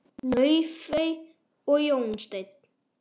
Laufey og Jón Steinn.